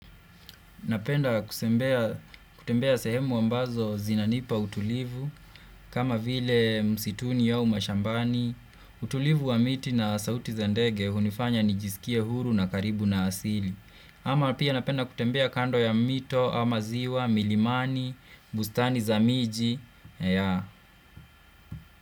Napenda kusembea, kutembea sehemu ambazo zinanipa utulivu, kama vile msituni au mashambani, utulivu wa miti na sauti za ndege hunifanya nijiskie huru na karibu na asili. Ama pia napenda kutembea kando ya mito, ama ziwa, milimani, bustani za miji, yaa.